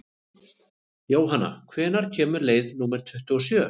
Jónanna, hvenær kemur leið númer tuttugu og sjö?